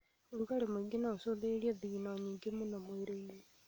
rugarĩ mũingĩ noũcũngĩrĩrie thigino nyingĩ mũno mwĩrĩ-inĩ